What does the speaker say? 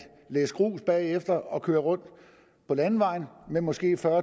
læs grus bagefter traktoren og køre rundt på landevejen med måske fyrre